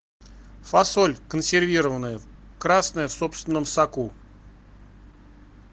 фасоль консервированная красная в собственном соку